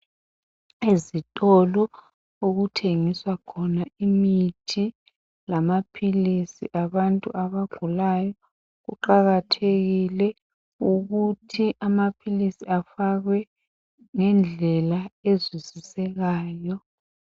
Ezitolo okuthengiswa khona imithi lamaphilisi abantu abagulayo, kuqakathekile ukuthi amaphilisi afakwe ngendlela ezwisisekayo.